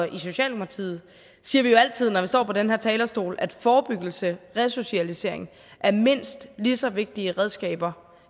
i socialdemokratiet siger vi jo altid når vi står på den her talerstol at forebyggelse resocialisering er mindst lige så vigtige redskaber